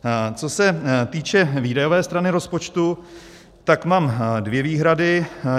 Co se týče výdajové strany rozpočtu, tak mám dvě výhrady.